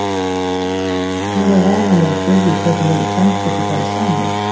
Því er kannski ekki nema von að maður spyrji hvernig þetta tvennt geti farið saman?